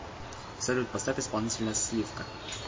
салют поставь исполнителя слив ка